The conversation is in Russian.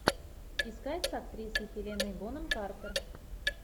искать с актрисой хелена бонем картер